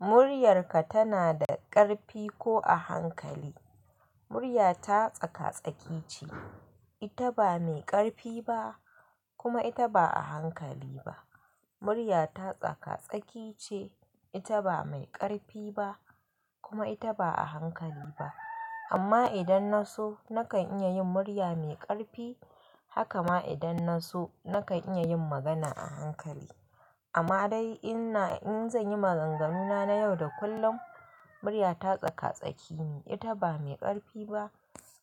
Muryarka tana da ƙarfi ko a hankali? Muryata tsaka-tsaki ce. Ita ba mai ƙarfi ba kuma ita ba a hankali ba. Muryata tsaka-tsaki ce. Ita ba mai ƙarfi ba kuma ita ba a hankali ba. Amma idan na so, nakan iya yin murya mai ƙarfi. Haka ma idan na so, nakan iya yin magana a hankali. Amma dai, in zanyi maganganuna na yau da kullum, muryata tsaka-tsaki ne. Ita ba mai ƙarfi ba